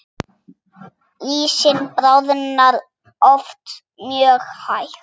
Ísinn bráðnar oft mjög hægt.